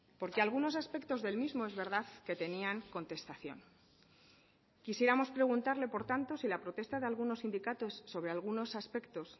porque algunos aspectos del mismo es verdad que tenían contestación quisiéramos preguntarle por tanto si la protesta de algunos sindicatos sobre algunos aspectos